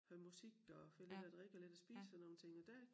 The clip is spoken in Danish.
Hører musik og får lidt at drikke og lidt at spise og sådan nogle ting og der